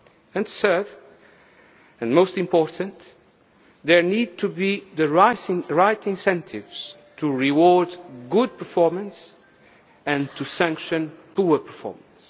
are set and third, and most important, there needs to be the right incentives to reward good performance and to sanction poor performance.